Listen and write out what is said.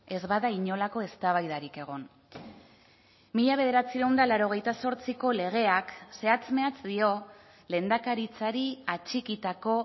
ez bada inolako eztabaidarik egon mila bederatziehun eta laurogeita zortziko legeak zehatz mehatz dio lehendakaritzari atxikitako